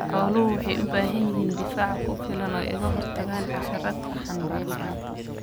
Xooluhu waxay u baahan yihiin difaac ku filan oo ay kaga hortagaan xasharaadka xanbaarsan.